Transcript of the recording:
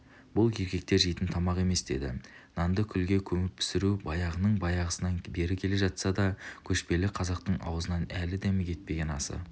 бұл еркектер жейтін тамақ емес деді нанды күлге көміп пісіру баяғының баяғысынан бері келе жатса да көшпелі қазақтың аузынан әлі дәмі кетпеген асы